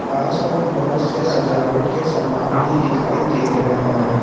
आस पास बहोत से सजावट के सामान भी दिखाई दे रहे हैं।